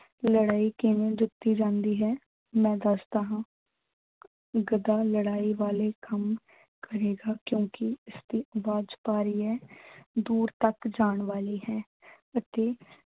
ਲੜਾਈ ਕਿਵੇਂ ਜਿੱਤੀ ਜਾਂਦੀ ਹੈ ਮੈਂ ਦੱਸਦਾ ਹਾਂ ਗਧਾ ਲੜਾਈ ਵਾਲੇ ਕੰਮ ਕਰੇਗਾ ਕਿਓਂਕਿ ਉਹਦੀ ਆਵਾਜ਼ ਭਾਰੀ ਹੈ, ਦੂਰ ਤੱਕ ਜਾਣ ਵਾਲੀ ਹੈ ਅਤੇ